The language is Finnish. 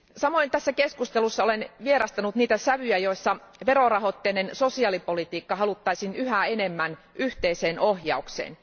Olen tässä keskustelussa myös vierastanut niitä sävyjä, joissa verorahoitteinen sosiaalipolitiikka haluttaisiin yhä enemmän yhteiseen ohjaukseen.